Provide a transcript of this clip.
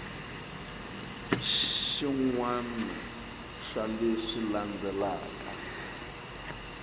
xin wana xa leswi landzelaka